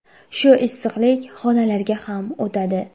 Shu issiqlik xonalarga ham o‘tadi.